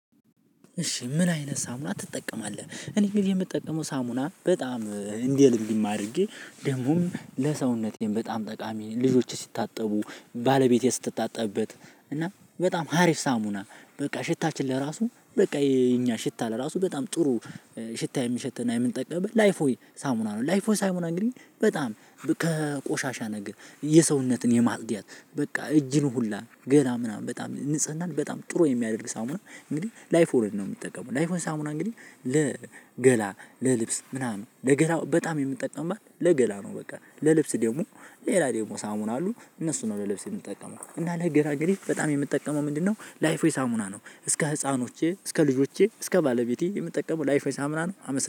እሺ ምን አይነት ሳሙና ትጠቀማለህ? እኔ ግን የምጠቀመው ሳሙና በጣም እንዲህ እንዲህ አድርጌ ደግሞም ለሰውነቴም በጣም ጠቃሚ ልጆች ሲታጠቡ ባለቤቴ ስትታጠብበት እና በጣም ሀሪፍ ሳሙና በቃ ሽታችን ለራሱ በቃ የኛ ሽታ ለራሱ በጣም ጥሩ ሽታ የሚሸተን እና የምንጠቀመው ላይፍ ሆይ ሳሙና ነው። ላይፍ ቦይ ሳሙና እንግዲህ በጣም ከቆሻሻ ነገር የሰውነትን ለማጽዳት በቃ እጅን ሁላ ገና ምናምን በጣም ንጽህናን ምናምን በጣም ጥሩ የሚያደርግ ሳሙና እንግዲህ ላይፍ ቦይ ሳሙና ነው። ምጠቀመው ላይፍ ቦይ እንግዲህ ለገላ ለልብስ ምናምን ለገላ በጣም የምጠቀምበት ለገላ ነው። በቃ ለልብስ ደግሞ ሌላ ደግሞ ሳሙና አሉ እነሱን ነው ለልብስ የምጠቀመው እና ለገራገሪ በጣም የምጠቀመው ምንድነው ላይፍ ዌይ ሳሙና ነው። እስከ ህፃኖቼ እስከ ልጆቼ እስከ ባለቤቴ የምጠቀመው ላይፍ ሳሙና ነው።